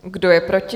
Kdo je proti?